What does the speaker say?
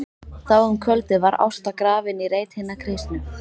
Þá um kvöldið var Ásta grafin í reit hinna kristnu.